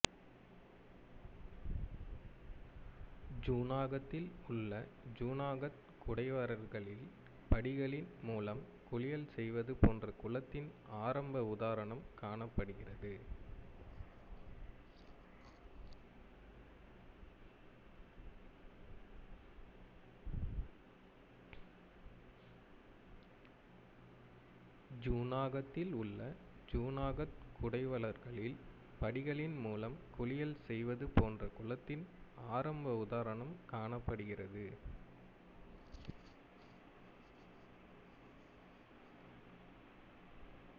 ஜூனாகத்தில் உள்ள ஜுனாகத் குடைவரைகளில் படிகளின் மூலம் குளியல் செய்வது போன்ற குளத்தின் ஆரம்ப உதாரணம் காணப்படுகிறது